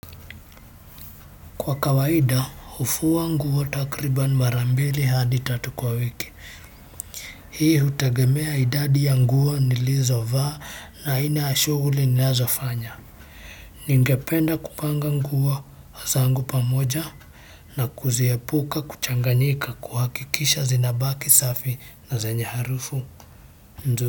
Kwa kawaida hufua nguo takriban mara mbili hadi tatu kwa wiki hii hutegemea idadi ya nguo nilizo vaa na aina ya shughuli ninazo fanya ningependa kupanga nguo zangu pamoja na kuziepuka kuchanganyika kuhakikisha zinabaki safi na zenye harufu nzuri.